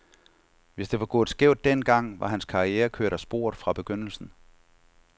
Hvis det var gået skævt den gang, var hans karriere kørt af sporet fra begyndelsen.